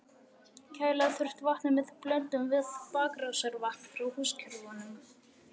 Kæla þurfti vatnið með blöndun við bakrásarvatn frá húskerfunum.